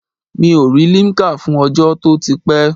Mi ò rí limkà fún ọjọ́ to ti pé?